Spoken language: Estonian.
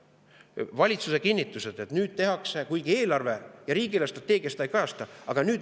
Valitsus kinnitab, et nüüd seda tehakse, kuigi eelarve ja riigi eelarvestrateegia seda ei kajasta.